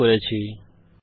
অংশগ্রহনের জন্য ধন্যবাদ